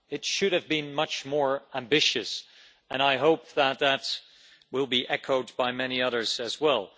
It should have been much more ambitious, and I hope that that will be echoed by many others as well.